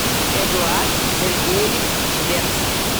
эдуард сергеевич швец